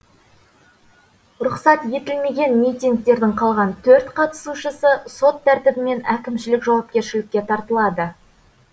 рұқсат етілмеген митингтердің қалған төрт қатысушысы сот тәртібімен әкімшілік жауапкершілікке тартылады